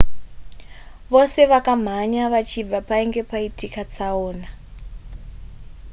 vose vakamhanya vachibva painge paitika tsaona